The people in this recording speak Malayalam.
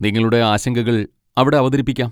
നിങ്ങളുടെ ആശങ്കകൾ അവിടെ അവതരിപ്പിക്കാം.